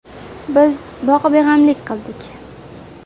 Biz boqibeg‘amlik qildik.